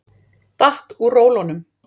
Datt úr rólunum.